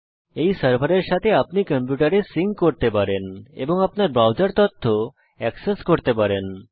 আপনি এই সার্ভারের সাথে আপনার কম্পিউটার সিঙ্ক করতে পারেন এবং আপনি আপনার ব্রাউজার তথ্য অ্যাক্সেস করতে পারেন